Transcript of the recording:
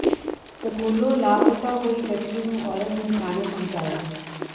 ਸਕੂਲੋਂ ਲਾਪਤਾ ਹੋਈ ਬੱਚੀ ਨੂੰ ਔਰਤ ਨੇ ਥਾਣੇ ਪਹੁੰਚਾਇਆ